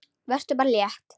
Vertu bara létt!